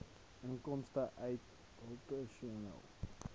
inkomste uit operasionele